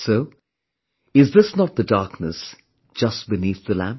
So, is this not the darkness, just beneath the lamp